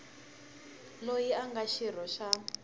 loyi a nga xirho xa